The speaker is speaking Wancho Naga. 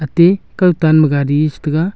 te kawtan ma gari chetega.